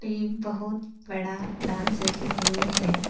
ये बहुत बड़ा डांस एकेडेमी है।